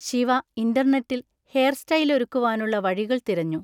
ശിവ ഇൻറർനെറ്റിൽ ഹെയർ സ്റ്റൈലൊരുക്കുവാനുള്ള വഴികൾ തിരഞ്ഞു.